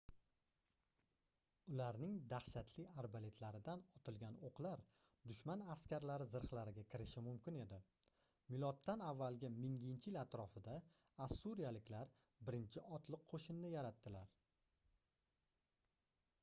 ularning dahshatli arbaletlaridan otilgan oʻqlar dushman askarlari zirhlariga kirishi mumkin edi miloddan avvalgi 1000-yil atrofida ossuriyaliklar birinchi otliq qoʻshinni yaratdilar